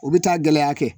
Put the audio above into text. U bɛ taa gɛlɛya kɛ